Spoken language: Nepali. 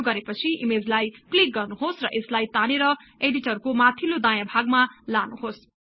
यो गरे पछि ईमेजलाई क्लिक गर्नुहोस् र यसलाई तानेर इडिटरको माथिल्लो दायाँ कुनामा लानुहोस्